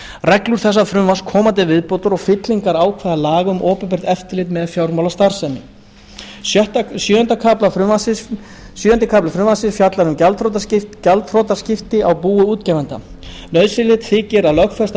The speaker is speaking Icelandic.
reglur þessa frumvarps koma til viðbótar og fyllingar ákvæða laga um opinbert eftirlit með fjármálastarfsemi sjöundi kafli frumvarpsins fjallar um gjaldþrotaskipti á búi útgefanda nauðsynlegt þykir að lögfesta reglur